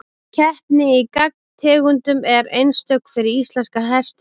Keppni í gangtegundum er einstök fyrir íslenska hestinn.